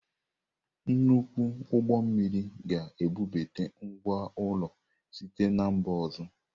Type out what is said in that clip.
Nnukwu ụgbọ mmiri ga-ebubata ngwá ụlọ site na mba ọzọ.